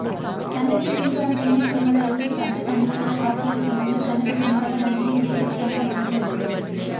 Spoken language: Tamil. சன்னதியின் பின்புறம் தென்மேற்கு முலையில் சப்த கன்னியர்கள்காட்சியளிக்கின்றனர் சன்னதி முன்பாக நந்தியும் தீபஸ்தம்பம் அமைந்துள்ளது